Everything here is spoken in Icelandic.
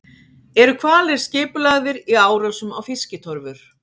Eru hvalir skipulagðir í árásum á fiskitorfur?